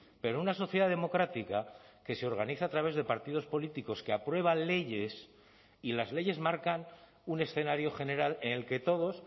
pero una sociedad democrática que se organiza a través de partidos políticos que aprueban leyes y las leyes marcan un escenario general en el que todos